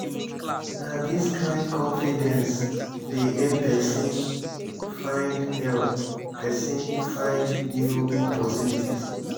na dis kain confidence dey help pesin find help pesin find new opportunities.